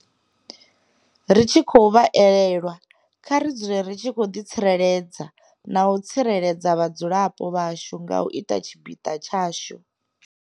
Ri tshi khou vha elelwa, kha ri dzule ri tshi ḓitsireledza na u tsireledza vhadzulapo vhashu nga u ita tshipiḓa tshashu.